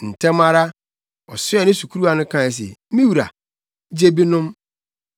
Ntɛm ara, ɔsoɛɛ ne sukuruwa no kae se, “Me wura, gye bi nom.”